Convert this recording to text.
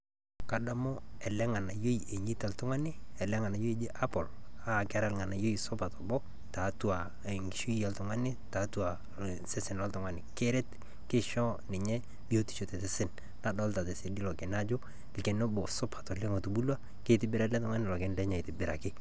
Kadamu ele Nga'anayioi ele nang'anayioi onyeita oltung'ani, ele Nga'anayioi oji Apple, naa kataa olng'anayioi supat oleng' tiatua enkishui oltung'ani tiatua osesen loltung'ani, keret keincho ninye biotisho, tesesen nadoolta sii irkererini ajo irkererini supat otubulua, keitobira ele Tung'ani lelo kererin lenyenak aitobiraki.